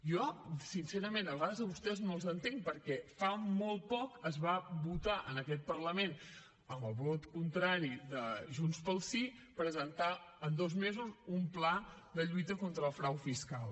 jo sincerament a vegades a vostès no els entenc perquè fa molt poc es va votar en aquest parlament amb el vot contrari de junts pel sí presentar en dos mesos un pla de lluita contra el frau fiscal